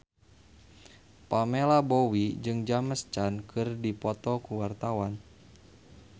Pamela Bowie jeung James Caan keur dipoto ku wartawan